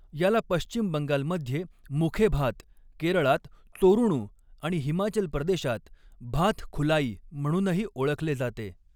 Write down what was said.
याला पश्चिम बंगालमध्ये मुखेभात, केरळात चोरूणू आणि हिमाचल प्रदेशात भाथ खुलाई म्हणूनही ओळखले जाते.